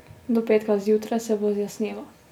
Do petka zjutraj se bo zjasnilo.